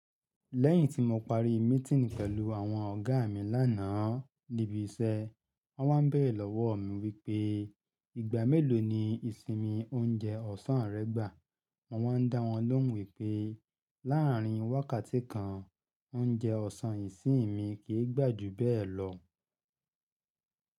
Lẹ́yìn tí mo parí meeting pẹ̀lú àwọn ọ̀gá mi lánàá níbi iṣẹ́, wọ́n wá n bẹ̀re lọ́wọ́ mi wípé ìgbà mélòó ni ìsinmi oúnjẹ ọ̀sán rẹ gbà. Wọ́n ń dá wọn lóhùn wípé láàárín wákàtí kan, oúnjẹ ọ̀sán ìsinmi kì í gbà jù bẹ́ẹ̀ lọ.